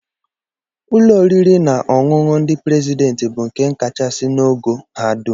Ụlọ oriri na ọṅụṅụ ndị prezidentị bụ nke kachasị n'ogo ha dum